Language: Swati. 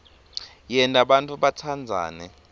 yenta bantfu batsandzane